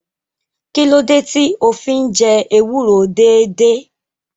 Kí ló dé tí o fi ń jẹ ewúro déédéé?